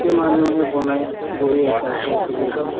মানুহে বনাই গৈয়ে আছে আকৌ career তো